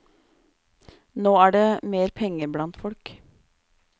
Nå er det mer penger blant folk.